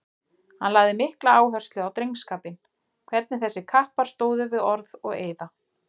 Hann lagði mikla áherslu á drengskapinn, hvernig þessir kappar stóðu við orð og eiða.